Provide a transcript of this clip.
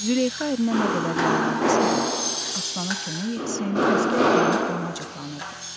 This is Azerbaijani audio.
Züleyxa ərinə nə qədər yalvardısa da, Aslana kömək etsin, əsgər deyinib ona acıqlanırdı.